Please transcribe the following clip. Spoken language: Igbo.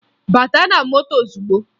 Bata na moto ozugbo!